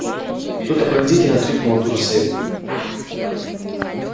кто-то пронзительно вскрикнул от ужаса и бурь